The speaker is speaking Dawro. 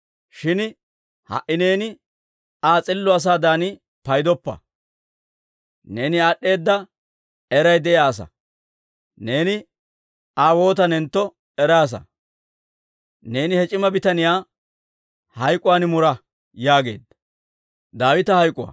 Shin ha"i neeni Aa s'illo asaadan paydoppa. Neeni aad'd'eeda eray de'iyaa asaa; neeni Aa waatanentto eraasa. Neeni he c'ima bitaniyaa hayk'k'uwaan mura» yaageedda.